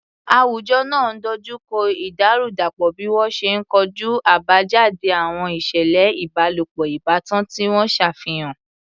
Àwùjọ náà dojú kọ ìdàrúdàpọ̀ bí wọ́n ṣe ń kojú àbájáde àwọn ìṣẹ̀lẹ̀ ìbálòpọ̀ ìbátan tí wọ́n ṣàfihàn.